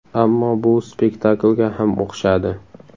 Ammo bu spektaklga ham o‘xshadi.